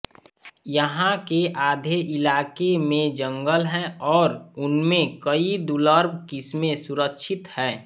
यहां के आधे इलाके में जंगल हैं और उनमें कई दुर्लभ किस्में सुरक्षित हैं